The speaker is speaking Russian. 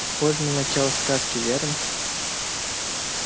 похоже на начало сказки верно